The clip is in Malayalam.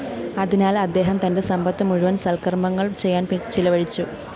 അതിനാല്‍ അദ്ദേഹം തന്റെ സമ്പത്തു മുഴുവന്‍ സല്‍ക്കര്‍മ്മങ്ങള്‍ ചെയ്യാന്‍ ചിലവഴിച്ചു